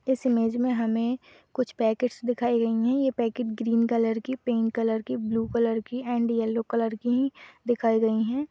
इस इमेज में हमें कुछ पैकेट दिखाई हैं। यह पैकेट ग्रीन कलर की पिंक कलर की ब्लू कलर की एंड येलो कलर की दिखाई गई है।